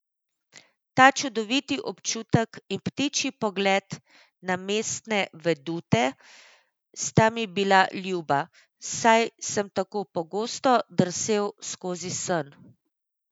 Ta čudoviti občutek in ptičji pogled na mestne vedute sta mi bila ljuba, saj sem tako pogosto drsel skozi sen.